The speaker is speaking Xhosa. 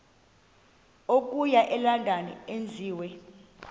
okuya elondon enziwe